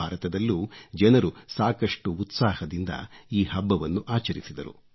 ಭಾರತದಲ್ಲೂ ಜನರು ಸಾಕಷ್ಟು ಉತ್ಸಾಹದಿಂದ ಈ ಹಬ್ಬವನ್ನು ಆಚರಿಸಿದರು